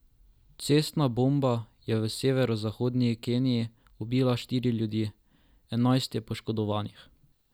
Cestna bomba je v severovzhodni Keniji ubila štiri ljudi, enajst je poškodovanih.